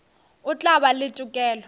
o tla ba le tokelo